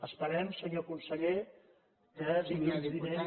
esperem senyor conseller que dilluns vinent